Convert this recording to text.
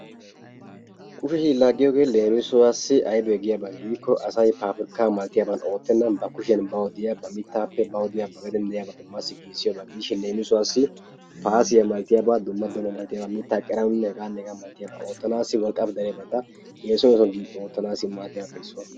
Kusheshin Laagiyoogee leemissuwaassi aybee giyabaa gikko asay pappirkkaa malatiyaban oottenaan ba kushiya bawu diya ba mittaappe bawu diya ba gadeen diyaba massi giiggisdiyoba gidishin leemissuwaassi paasiya malatiyaba dumma dumma malatiyaba mittaa qeeranawunne hegaanne hegaa malatiyaba oottanaasi wolqqaama dariyabata essuwan essuwan gi oottanaasi maddiyabappe issuwa.